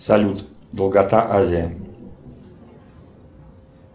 салют долгота азии